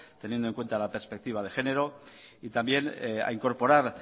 teniendo en cuenta la perspectiva de género y también a incorporar